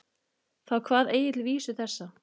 Þá kvað Egill vísu þessa